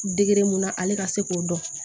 Degere mun na ale ka se k'o dɔn